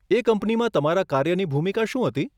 એ કંપનીમાં તમારા કાર્યની ભૂમિકા શું હતી?